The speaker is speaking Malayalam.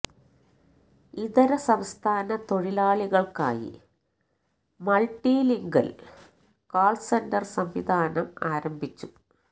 ഇതര സംസ്ഥാന തൊഴിലാളികള്ക്കായി മള്ട്ടി ലിംഗ്വല് കാള് സെന്റര് സംവിധാനം ആരംഭിച്ചു